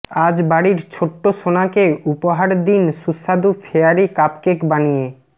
আজ বাড়ির ছোট্ট সোনাকে উপহার দিন সুস্বাদু ফেয়ারি কাপকেক বানিয়ে